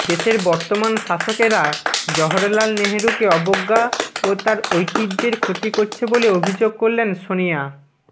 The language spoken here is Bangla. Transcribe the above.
দেশের বর্তমান শাসকেরা জওহরলাল নেহরুকে অবজ্ঞা ও তাঁর ঐতিহ্যের ক্ষতি করছে বলে অভিযোগ করলেন সনিয়া